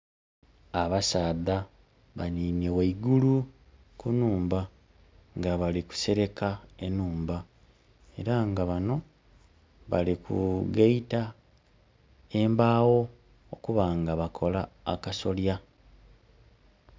Abasaadha banhinhye ghaigulu ku nhumba nga bali kuseleka enhumba. Era nga bano bali kugaita embaagho okuba nga bakola akasolya.